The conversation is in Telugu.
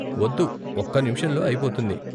వద్దు, ఒక్క నిముషంలో అయిపోతుంది.